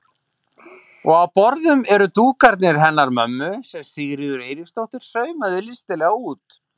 Og á borðum eru dúkarnir hennar mömmu sem Sigríður Eiríksdóttir saumaði listilega út.